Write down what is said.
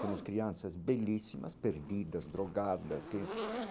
Temos crianças belíssimas, perdidas, drogadas que.